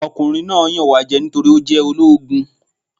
Ọkùnrin náà yàn wá jẹ nítorí ó jẹ́ ológun.